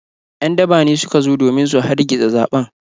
‘Yan daba ne suka zo domin su hargitsa zaɓen.